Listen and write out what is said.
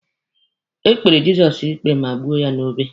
E kpere Jizọs ikpe ma kpọgbuo ya n'obe.